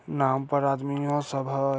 नाव पर आदमी सब होय।